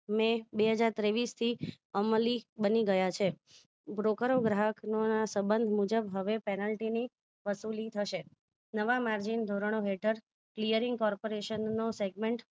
મે બે હજાર તેવીસથી અમલી બની ગયા છે broker ગ્રાહક ના સબંધ મુજબ હવે penalty ની વસુલી થશે નવા margin ધોરણો હેઠળ clearing corporation નો statement